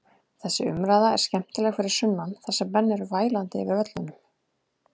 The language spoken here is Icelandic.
Þessi umræða er skemmtileg fyrir sunnan þar sem menn eru vælandi yfir völlunum.